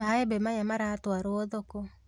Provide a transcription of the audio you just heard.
Maembe maya maratwarwo thoko